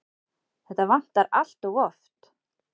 Þetta vantar allt of oft.